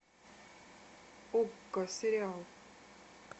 окко сериал